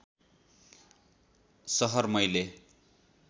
सहर मैले